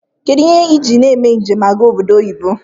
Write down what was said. Kedu ihe iji eme njem aga oboddo oyibo?